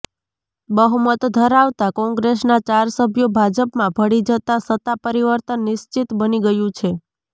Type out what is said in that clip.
બહુમત ધરાવતા કોંગ્રેસના ચાર સભ્યો ભાજપમાં ભળી જતા સત્તા પરિવર્તન નિશ્ચિત બની ગયું છે